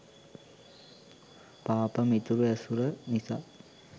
පාප මිතුරු ඇසුර නිසා